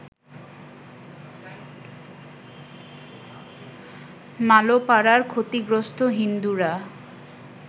মালোপাড়ার ক্ষতিগ্রস্ত হিন্দুরা